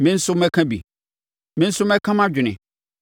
Me nso mɛka bi me nso mɛka mʼadwene.